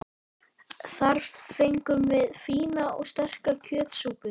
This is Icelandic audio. Þar fengum við fína og sterka kjötsúpu.